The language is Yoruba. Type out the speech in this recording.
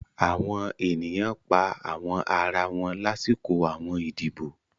Àwọn ènìyàn pa àwọn ara wọn láṣọkọ àwọn ìdíbò